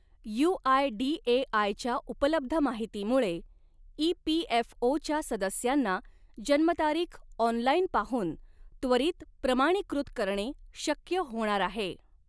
UIDAI च्या उपलब्ध माहितीमुळे इपीएफओच्या सदस्यांना जन्मतारीख ऑनलाइन पाहून त्वरित प्रमाणीकृत करणे शक्य होणार आहे.